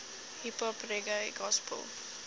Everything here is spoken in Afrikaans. hiphop reggae gospel